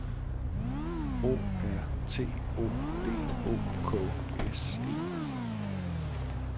O R T O D O K S E